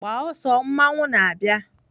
Gbaa ọsọ mmanwụ na-abịa!